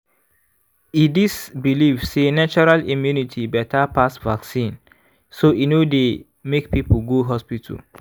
e dis believe sey natural immunity better pass vaccine so e no dey make people quick go hospital.